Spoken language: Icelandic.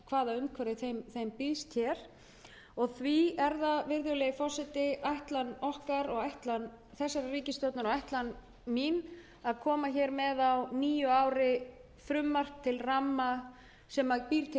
ekki hvaða umhverfi þeim býðst hér það er því ætlun ríkisstjórnarinnar og mín að leggja fram nýtt frumvarp á nýju ári sem býr til